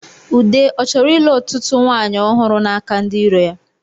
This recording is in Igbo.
Ude ọ chọrọ ịlụ ọtụtụ nwanyị ọhụrụ n'aka ndi iro ya?